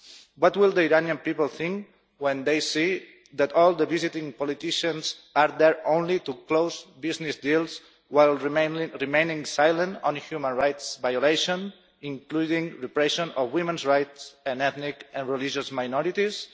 What will the Iranian people think when they see that all the visiting politicians are there only to close business deals, while remaining silent on human rights violations, including repression of women's rights and ethnic and religious minorities?